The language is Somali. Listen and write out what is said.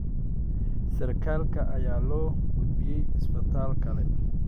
Sarkaalka ayaa loo gudbiyay isbitaal kale.